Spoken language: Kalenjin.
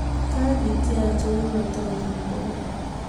Kakityok chekoratatin bokol